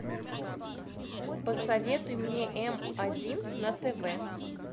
посоветуй мне м один на тв